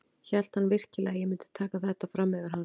Hélt hann virkilega að ég myndi taka þetta fram yfir hann?